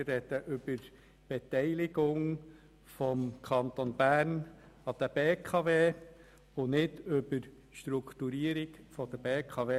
Wir sprechen über die Beteiligung des Kantons Bern an der BKW und nicht über die Strukturierung der BKW selber.